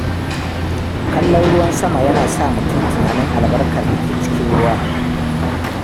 Kallon ruwan sama yana sa mutum tunanin albarkar da ke cikin ruwa.